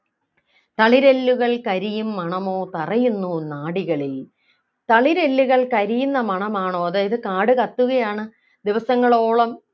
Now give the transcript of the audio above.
തളിരെല്ലുകൾ കരിയും മണമോ തറയുന്നു നാഡികളിൽ തളിരെല്ലുകൾ കരിയുന്ന മണമാണോ അതായത് കാടുകത്തുകയാണ് ദിവസങ്ങളോളം